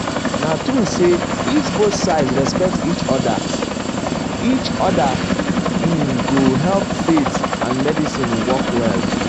na true say if both sides respect each other each other um e go help faith and medicine work well together.